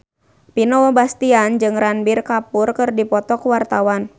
Vino Bastian jeung Ranbir Kapoor keur dipoto ku wartawan